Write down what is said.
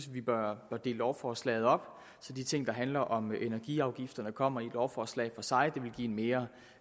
vi bør dele lovforslaget op så de ting der handler om energiafgifterne kommer i et lovforslag for sig det vil give en mere